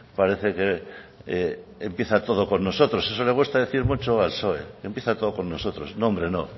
parece que empieza todo con nosotros eso le cuesta decir mucho al psoe empieza todo con nosotros no hombre no